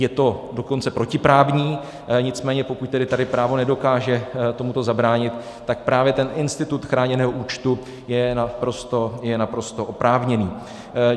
Je to dokonce protiprávní, nicméně pokud tedy tady právo nedokáže tomuto zabránit, tak právě ten institut chráněného účtu je naprosto oprávněný.